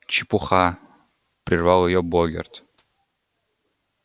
чепуха прервал её богерт